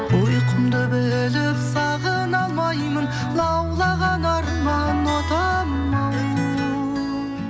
ұйқымды бөліп сағына алмаймын лаулаған арман отымау